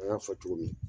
An y'a fɔ cogo min